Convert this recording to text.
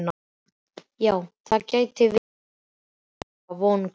Já, það gæti verið, sagði mamma vonglöð.